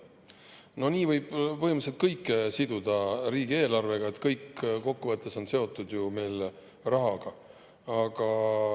No nii võib põhimõtteliselt kõik siduda riigieelarvega – kokkuvõttes on ju kõik seotud rahaga.